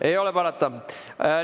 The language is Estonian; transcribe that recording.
Ei ole midagi parata.